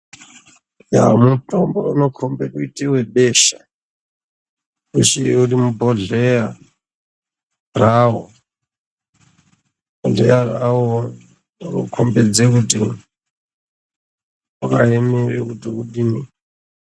Ndaa mutombo unokombe kuite webesha usiri mubhodhleya rawo awo unokombedza kuti wakaemera kuti kudini.